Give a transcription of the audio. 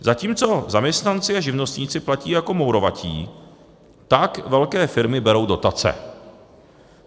Zatímco zaměstnanci a živnostníci platí jako mourovatí, tak velké firmy berou dotace.